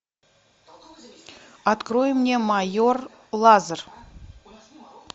открой мне майор лазер